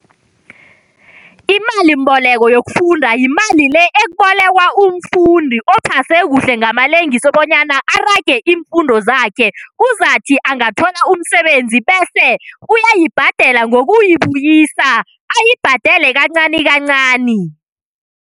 imalimboleko yokufunda, yimali le ebolekwa umfundi ophase kuhle ngamalengiso bonyana arage iimfundo zakhe, uzakuthi angathola umsebenzi bese uyayibhadela ngokuyibuyisa. Ayibhadele kancani kancani.